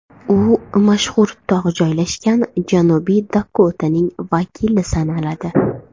U mashhur tog‘ joylashgan Janubiy Dakotaning vakili sanaladi.